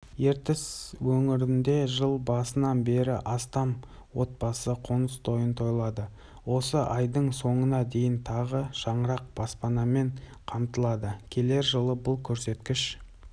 ертіс өңірінде жыл басынан бері астам отбасы қоныстойын тойлады осы айдың соңына дейін тағы шаңырақ баспанамен қамтылады келер жылы бұл көрсеткіш